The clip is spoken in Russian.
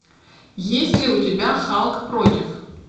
есть ли у тебя халк против